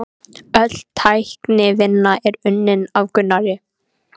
Öll teiknivinna er unnin af Gunnari